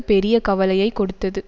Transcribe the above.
பெரிய கவலையை கொடுத்தது